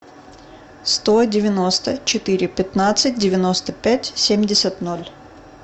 сто девяносто четыре пятнадцать девяносто пять семьдесят ноль